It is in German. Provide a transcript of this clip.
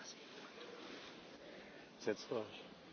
Liebe Kolleginnen und Kollegen!